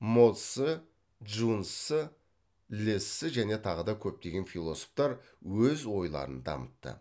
мо цзы чжун цзы ле цзы және тағы да көптеген философтар өз ойларын дамытты